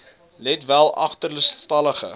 let wel agterstallige